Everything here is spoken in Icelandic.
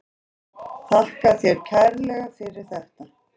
Þakka þér kærlega fyrir þetta.